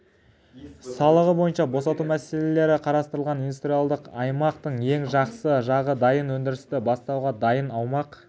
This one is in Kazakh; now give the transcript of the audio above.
салығы бойынша босату мәселелері қарастырылған индустриялдық аймақтың ең жақсы жағы дайын өндірісті бастауға дайын аумақ